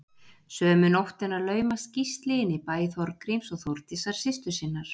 Sömu nóttina laumast Gísli inn í bæ Þorgríms og Þórdísar systur sinnar.